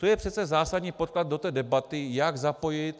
To je přece zásadní podklad do té debaty, jak zapojit...